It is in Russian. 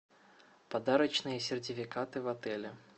подарочные сертификаты в отеле